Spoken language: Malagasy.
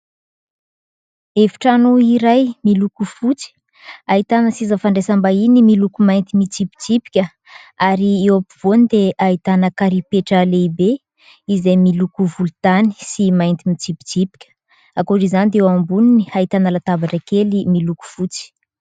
Efitrano iray miloko fotsy ahitana seza fandraisam-bahiny miloko mainty mitsipitsipika ary eo ampovoany dia ahitana karipetra lehibe izay miloko volontany sy mainty mitsipitsipika. Ankoatr'izany dia eo amboniny ahitana latabatra kely miloko fotsy.